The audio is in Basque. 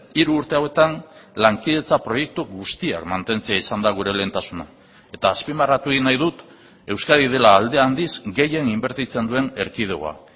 hiru urte hauetan lankidetza proiektu guztiak mantentzea izan da gure lehentasuna eta azpimarratu egin nahi dut euskadi dela alde handiz gehien inbertitzen duen erkidegoa